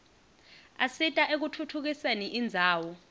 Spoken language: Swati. asita ekutfutfukiseni indzawo